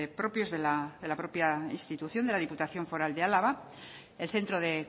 propios de la propia institución de la diputación foral de álava el centro de